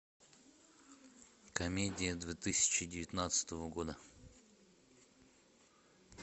комедия две тысячи девятнадцатого года